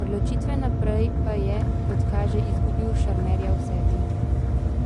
od ločitve naprej pa je, kot kaže, izgubil šarmerja v sebi.